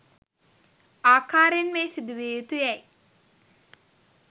ආකාරයෙන්ම එය සිදු විය යුතු යැයි